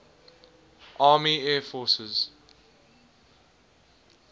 army air forces